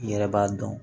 I yɛrɛ b'a dɔn